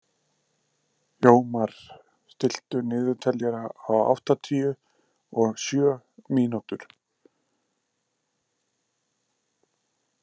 Jómar, stilltu niðurteljara á áttatíu og sjö mínútur.